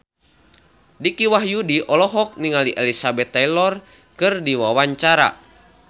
Dicky Wahyudi olohok ningali Elizabeth Taylor keur diwawancara